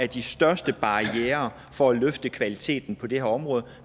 de største barrierer for at løfte kvaliteten på det her område